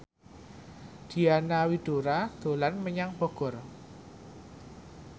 Diana Widoera dolan menyang Bogor